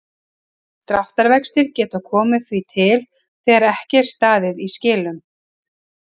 Dráttarvextir geta því komið til þegar ekki er staðið í skilum.